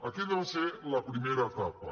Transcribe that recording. aquella va ser la primera etapa